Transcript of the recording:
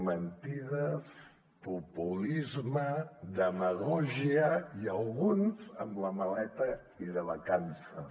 mentides populisme demagògia i alguns amb la maleta i de vacances